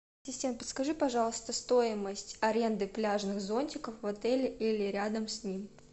ассистент подскажи пожалуйста стоимость аренды пляжных зонтиков в отеле или рядом с ним